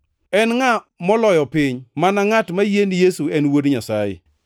En ngʼa moloyo piny? Mana ngʼat moyie ni Yesu en Wuod Nyasaye.